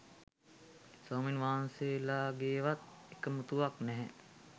ස්වාමින් වහන්සේලගේවත් එකමුතුවක් නැහැ.